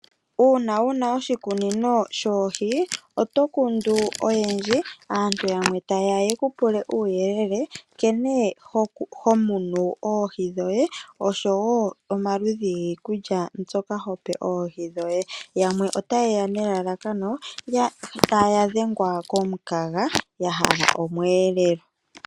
Uuna wuna oshikunino shoohi, oto kundu oyendji, aantu yamwe ta yeya ye ku pule uuyelele nkene ho munu oohi dhoye, osho woo omaludhi giikulya mbyoka ho pe oohi dhoye. Yamwe ota yeya nelalakano taya dhengwa komukaga ,ya hala omweelelo.